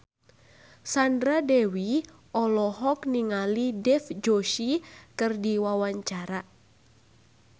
Sandra Dewi olohok ningali Dev Joshi keur diwawancara